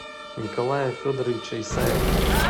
николая федоровича исаева